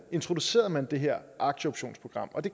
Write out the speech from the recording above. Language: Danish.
introducerede man det her aktieoptionsprogram og det